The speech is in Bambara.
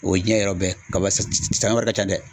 O ye diɲɛ yɔrɔ bɛɛ , kaba sanɲɔ wari ka dɛ.